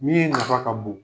Min nafa ka bon